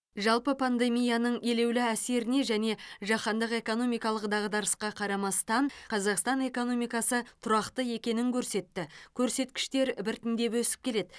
жалпы пандемияның елеулі әсеріне және жаһандық экономикалық дағдарысқа қарамастан қазақстан экономикасы тұрақты екенін көрсетті көрсеткіштер біртіндеп өсіп келеді